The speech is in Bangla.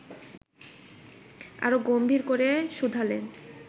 আরো গম্ভীর করে শুধালেন